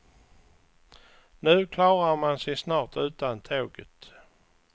Nu klarar man sig snart utan tåget.